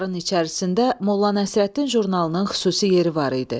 Bunların içərisində Molla Nəsrəddin jurnalının xüsusi yeri var idi.